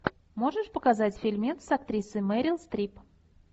можешь показать фильмец с актрисой мерил стрип